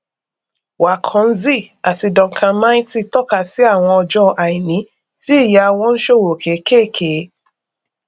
waconzy àti duncan mighty tọka sí àwọn ọjọ àìní tí ìyá wọn ń ṣòwò kékèké